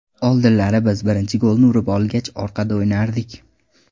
Oldinlari biz birinchi golni urib olgach, orqada o‘ynardik.